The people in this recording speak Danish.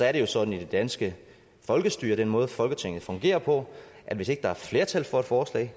er jo sådan i det danske folkestyre og den måde folketinget fungerer på at hvis ikke der er flertal for et forslag